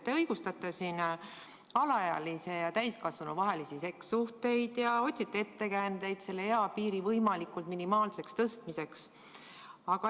Te õigustate siin alaealise ja täiskasvanu vahelisi sekssuhteid ning otsite ettekäändeid eapiiri võimalikult minimaalseks tõstmiseks.